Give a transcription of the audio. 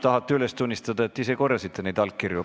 Kas tahate üles tunnistada, et te ise korjasite neid allkirju?